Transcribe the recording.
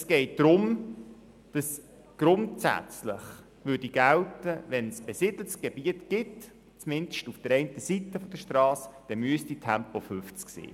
Es geht darum, dass die Höchstgeschwindigkeit von 50 km/h grundsätzlich in besiedeltem Gebiet gelten würde, auch wenn Häuser nur an der einen Strassenseite stehen.